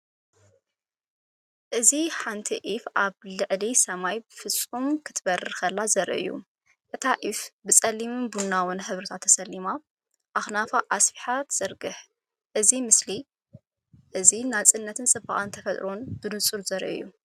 እዚ ሓንቲ ዑፍ ኣብ ልዕሊ ሰማያዊ ፍጹም ክትበርር ከላ ዘርኢ እዩ። እታ ዑፍ ብጸሊምን ቡናውን ሕብርታት ተሰሊማ ኣኽናፋ ኣስፊሓ ትዝርግሕ። እዚ ምስሊ እዚ ናጽነትን ጽባቐ ተፈጥሮን ብንጹር ዘርኢ እዩ።